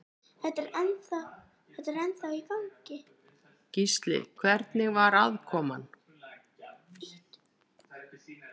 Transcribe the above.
Gísli: Hvernig var aðkoman?